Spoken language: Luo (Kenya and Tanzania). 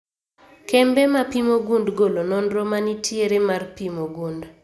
Kembe mapimo gund golo nonro manitiere mar pimo gund